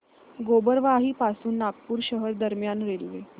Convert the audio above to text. गोबरवाही पासून नागपूर शहर दरम्यान रेल्वे